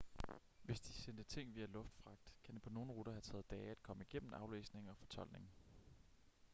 hvis de sendte ting via luftfragt kan det på nogle ruter have taget dage at komme igennem aflæsning og fortoldning